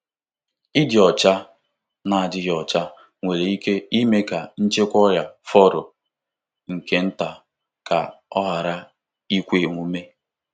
Ịdị ọcha na-adịghị ọcha nwere ike ime ka nchịkwa ọrịa fọrọ nke nta ka ọ ghara ikwe omume.